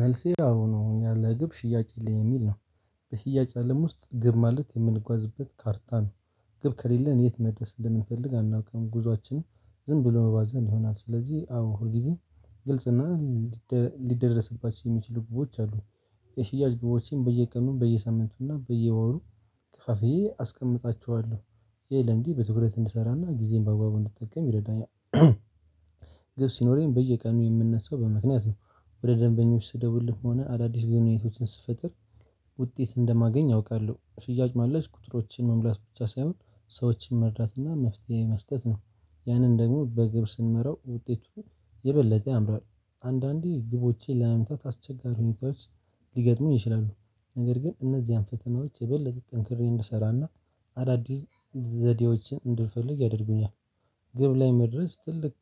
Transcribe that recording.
መልሴ ያው ያለ ግብ ሽያጭ የለም የሚል ነው። በሽያጭ አለም ውስጥ ግብ ማለት የምንጓዝበት ካርታ ነው። ግብ ከሌለን የት መድረስ እንደምንፈልግ አናውቅም። ጉዞአችንም ዝም ብሎ መባዘን ይሆናል። ስለዚህ አዎ ሁል ጊዜ ግልጽና ሊደረስባቸው የሚችሉ ግቦች አሉ። የሽያጭ ግቦችን በየቀኑ በየሳምንቱና በየወሩ ከፋፍየ አስቀምጣቸዋለሁ። ይህ ለምዴ በትኩረት እንድሰራና ጊዜዬን በአግባቡ እንድጠቀም ይረዳኛል። ግብ ሲኖረኝ በየቀኑ የምነሳው በምክንያት ነው። ወደ ደንበኞች ስደውልም ሆን አዳዲስ ግንኙነቶችን ስፈጥር ውጤት እንደማገኝ አውቃለሁ። ሽያጭ ማለት ቁጥሮችን መሙላት ብቻ ሳይሆን ሰዎችን መርዳትና መፍትሄ መስጠት ነው። ያንን ደግሞ በግብ ስንመራው ውጤቱ የበለጠ ያምራል። አንዳንዴ ግቦቼን ለመምታት አስቸጋሪ ሁኔታዎች ሊገጥሙኝ ይችላሉ። ነገር ግን እነዚያን ፈተናዎች የበለጠ ጠንክሬ እንድሰራና አዳዲስ ዘዴዎችን እንድልፈልግ ያደርጉኛል። ግብ ላይ መድረስ ትልቅ